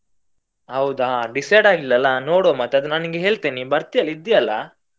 ಹೌದಾ decide ಆಗಿಲ್ಲ ಅಲ್ಲಾ. ನೋಡ್ವ ಮತ್ತೆ ಅದು ನಾನ್ ನಿಂಗೆ ಹೇಳ್ತೇನೆ ನೀ ಬರ್ತಿಯಲ್ಲ ಇದ್ದಿಯಲ್ಲ?